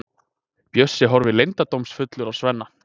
Bjössi horfir leyndardómsfullur á Svenna.